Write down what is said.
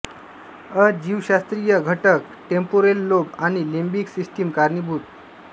अ जीवशास्त्रीय घटक temporal lobe आणि लिंबिक सिस्टिम कारणीभूत